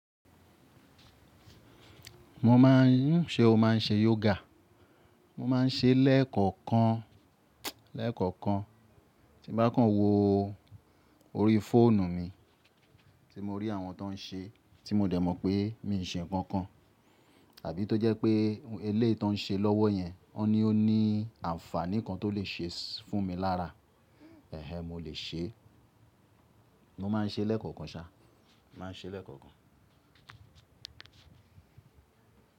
Mo ma n, ṣe o ma n ṣe yoga? Mo ma n ṣe lẹ́ẹ̀kọ̀kan, lẹ́ẹ̀kọ̀kan. Ti n bá kàn wo orí fóònù mi tí mo rí àwọn tó n ṣe tí mo dẹ̀ mọ̀ pé mi ò n ṣe nǹkan kan tàbí tó jẹ́ pé elé tó n ṣe lọ́wọ́ yẹn, ọ́ ní ó ní àǹfàní kan tó lè ṣe fún mi lára. Ẹ̀hẹ̀, mo lè ṣe, mo ma n ṣe lẹ́ẹ̀kọ̀kan sa, ma n ṣe lẹ́ẹ̀kọ̀kan.